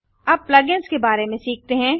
अब plug ins के बारे में सीखते हैं